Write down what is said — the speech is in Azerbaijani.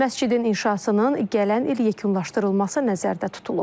Məscidin inşasının gələn il yekunlaşdırılması nəzərdə tutulub.